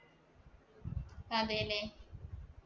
അതേലെ.